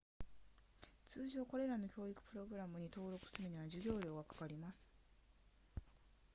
通常これらの教育プログラムに登録するには授業料がかかります